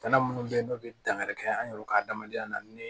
Bana munnu be yen n'u be dangari kɛ an yɛrɛ ka adamadenya na ni